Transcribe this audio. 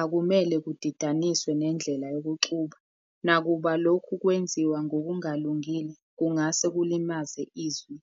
akumele kudidaniswe nendlela yokuxuba, nakuba lokhu kwenziwa ngokungalungile kungase kulimaze izwi.